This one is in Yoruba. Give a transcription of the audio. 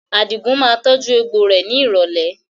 Àdigun máa tọju egbò rẹ ni ìrọ̀lẹ́